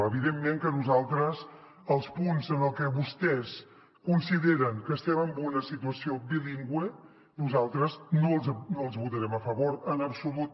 evidentment que nosaltres els punts en els que vostès consideren que estem en una situació bilingüe nosaltres no els votarem a favor en absolut